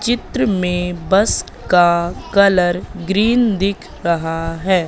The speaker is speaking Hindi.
चित्र में बस का कलर ग्रीन दिख रहा है।